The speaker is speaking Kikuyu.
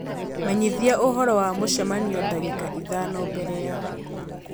menyithia ũhoro wa mũcemanio dagĩka ithano mbere ya .